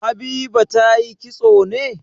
Habiba ta yi kitso ne?